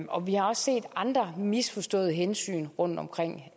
og vi har også set andre misforståede hensyn rundtomkring